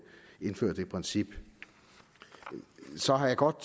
indføre det princip så har jeg godt